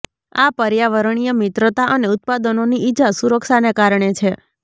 આ પર્યાવરણીય મિત્રતા અને ઉત્પાદનોની ઇજા સુરક્ષાને કારણે છે